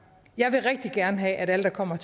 jeg vil rigtig gerne have at alle der kommer